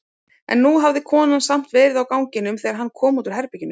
En nú hafði konan samt verið á ganginum þegar hann kom út úr herberginu.